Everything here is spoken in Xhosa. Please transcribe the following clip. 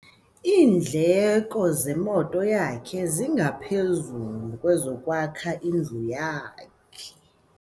Iindleko zemoto yakhe zingaphezu kwezokwakha indlu yakhe.